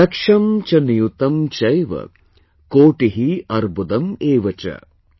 लक्षं च नियुतं चैव, कोटि अर्बुदम् एव च ||